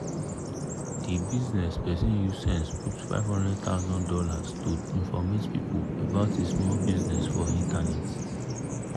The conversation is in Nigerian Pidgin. di bizness person use sense put fifty thousand dollars0 to informate people about e small bizness for internet. bizness for internet.